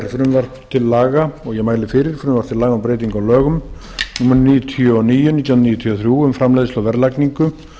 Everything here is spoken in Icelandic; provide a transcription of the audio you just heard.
frumvarp til laga um breytingu á lögum númer níutíu og níu nítján hundruð níutíu og þrjú um framleiðslu verðlagningu